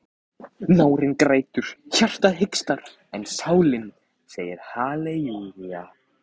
Nárinn grætur, hjartað hikstar en sálin segir halelúja.